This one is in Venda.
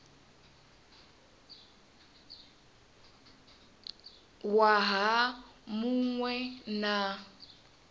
waha mu ṅ we na